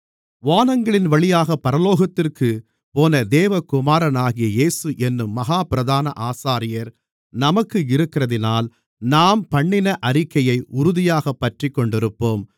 வானங்களின்வழியாகப் பரலோகத்திற்குப்போன தேவகுமாரனாகிய இயேசு என்னும் மகா பிரதான ஆசாரியர் நமக்கு இருக்கிறதினால் நாம் பண்ணின அறிக்கையை உறுதியாகப் பற்றிக்கொண்டிருப்போம்